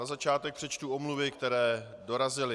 Na začátek přečtu omluvy, které dorazily.